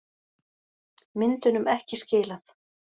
Myndunum ekki skilað